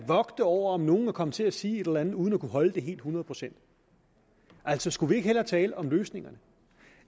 over om nogen er kommet til at sige et eller andet uden at kunne holde det hundrede procent altså skulle vi ikke hellere tale om løsningerne